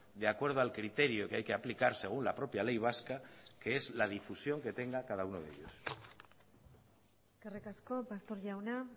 de acuerdo al criterio que hay que aplicar según la propia ley vasca que es la difusión que tenga cada uno de ellos eskerrik asko pastor jauna